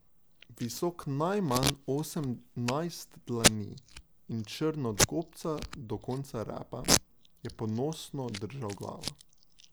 Visok najmanj osemnajst dlani in črn od gobca do konca repa je ponosno držal glavo.